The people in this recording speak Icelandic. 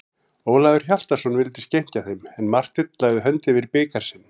Ólafur Hjaltason vildi skenkja þeim, en Marteinn lagði hönd yfir bikar sinn.